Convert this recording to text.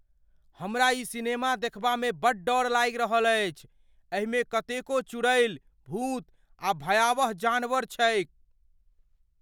हमरा ई सिनेमा देखबामे बड्ड डर लागि रहल अछि। एहिमे कतेको चुड़ैल, भूत, आ भयावह जानवर छैक।